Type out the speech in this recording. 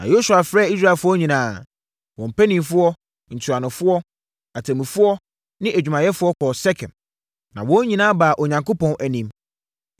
Na Yosua frɛɛ Israelfoɔ nyinaa, wɔn mpanimfoɔ, ntuanofoɔ, atemmufoɔ ne adwumayɛfoɔ kɔɔ Sekem. Na wɔn nyinaa baa Onyankopɔn anim.